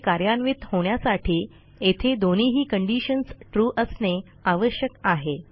हे कार्यान्वित होण्यासाठी येथे दोन्हीही कंडिशन्स ट्रू असणे आवश्यक आहे